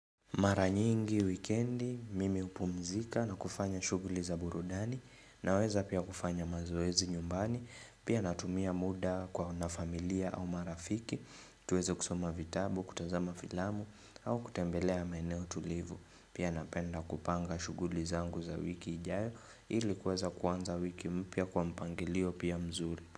Mara nyingi wikendi mimi hupumzika na kufanya shughuli za burudani naweza pia kufanya mazoezi nyumbani pia natumia muda na familia au marafiki tuweze kusoma vitabu kutazama filamu au kutembelea maeneo tulivu pia napenda kupanga shughuli zangu za wiki ijayo ili kuweza kuanza wiki mpya kwa mpangilio pia mzuri.